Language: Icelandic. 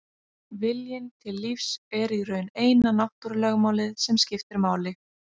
Viljinn til lífs er í raun eina náttúrulögmálið sem skiptir máli.